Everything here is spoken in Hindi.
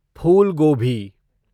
फूल गोभी